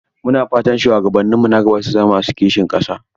Mu na fata shuwagabanninmu na gaba su zama masu kishin ƙasa.